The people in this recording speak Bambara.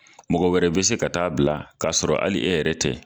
Mɔgɔ wɛrɛ bɛ se ka taa bila k'a sɔrɔ hali e yɛrɛ tɛ.